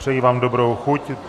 Přeji vám dobrou chuť.